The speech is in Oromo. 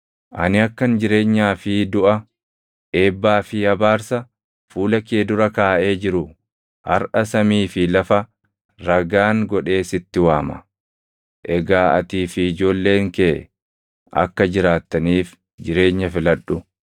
Ani akkan jireenyaa fi duʼa, eebbaa fi abaarsa fuula kee dura kaaʼee jiru harʼa samii fi lafa ragaan godhee sitti waama. Egaa atii fi ijoolleen kee akka jiraattaniif jireenya filadhu;